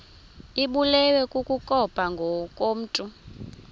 ibulewe kukopha ngokomntu